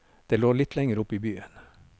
Det lå litt lenger oppe i byen.